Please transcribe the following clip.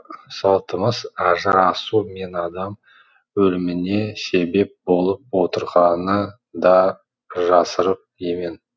салтымыз ажырасу мен адам өліміне себеп болып отырғаны да жасырын емен